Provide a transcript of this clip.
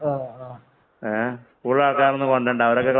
കൂടുതല്‍ ആള്‍ക്കാര് ഒന്നും കൊണ്ട് വരണ്ട.